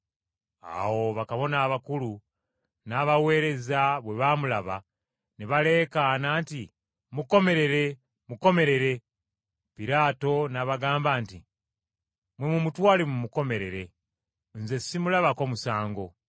Awo bakabona abakulu n’abaweereza bwe baamulaba, ne baleekaana nti, “Mukomerere, mukomerere!” Piraato n’abagamba nti, “Mmwe mumutwale mumukomerere. Nze simulabako musango.”